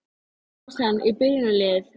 Kæmist hann í byrjunarliðið?